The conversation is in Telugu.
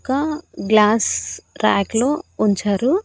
ఒక గ్లాస్ ర్యాక్ లో ఉంచారు.